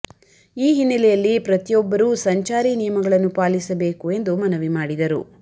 ಈ ಹಿನ್ನೆಲೆಯಲ್ಲಿ ಪ್ರತಿಯೋಬ್ಬರೂ ಸಂಚಾರಿ ನಿಯಮಗಳನ್ನು ಪಾಲಿಸಬೇಕು ಎಂದು ಮನವಿ ಮಾಡಿದರು